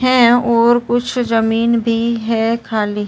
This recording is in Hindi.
हैं ओर कुछ ज़मीन भी है खाली।